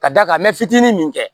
Ka d'a kan ntiginin min kɛ